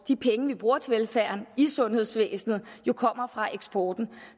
de penge vi bruger til velfærden i sundhedsvæsenet jo kommer fra eksporten